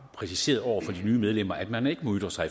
præciseret over for de nye medlemmer at man ikke må ytre sig